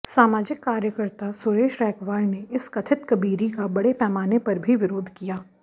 सामाजिक कार्यकर्ता सुरेश रैकवार ने इस कथित कबीरी का बड़े पैमाने पर भी विरोध किया